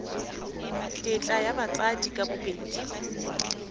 tetla ya batsadi ka bobedi